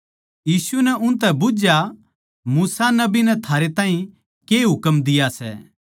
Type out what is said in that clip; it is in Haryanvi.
यीशु नै उनतै पूच्छया मूसा नबी नै थारै ताहीं के हुकम दिया सै